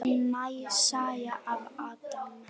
Ný saga af Adam.